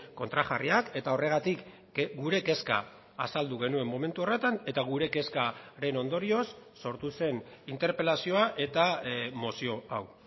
kontrajarriak eta horregatik gure kezka azaldu genuen momentu horretan eta gure kezkaren ondorioz sortu zen interpelazioa eta mozio hau